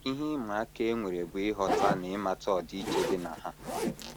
Ihe ịma aka e nwere bụ ịghọta na ịmata ọdịiche dị na ha. ”